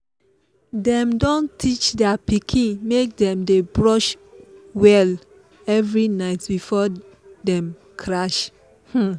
dem don teach their pikin make dem dey brush well every night before dem crash. um